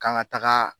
Kan ka taga